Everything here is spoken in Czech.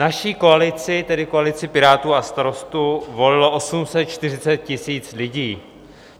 Naši koalici, tedy koalici Pirátů a Starostů, volilo 840 000 lidí.